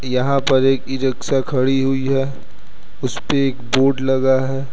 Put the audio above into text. यहां पर एक ई रिक्शा खड़ी हुई है उसपे एक बोर्ड लगा है।